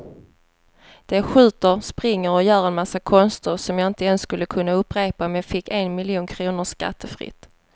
De skjuter, springer och gör en massa konster som jag inte ens skulle kunna upprepa om jag fick en miljon kronor skattefritt.